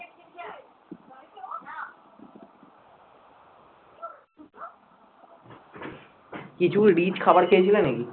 কিছু rich খাবার খেয়েছিলে নাকি?